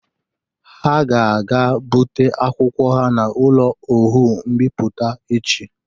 Ha ga-aga ibute akwụkwọ ha n'ụlọ Oọụ mbipụta echi.